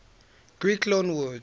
greek loanwords